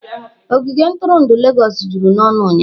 Ogige ntụrụndụ Legọs juru n'ọnụ ụnyahụ.